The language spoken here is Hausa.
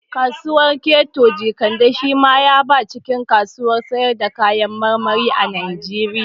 Kasuwar keto Jekande shi ma ya ba cikin kasuwar sayar da kayan marmari a Najeriya